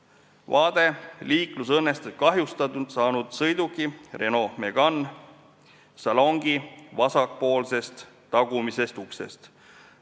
See on vaade liiklusõnnetuses kahjustada saanud sõiduki Renault Megane salongi vasakpoolsest tagumisest uksest.